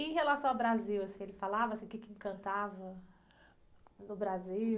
Em relação ao Brasil, assim, ele falava o quê que encantava do Brasil?